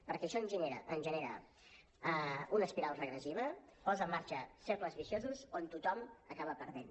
perquè això ens genera una espiral regressiva posa en marxa cercles viciosos on tothom acaba perdent